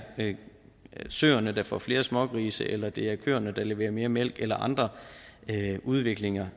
søerne der får flere smågrise eller det er køerne der leverer mere mælk eller andre udviklinger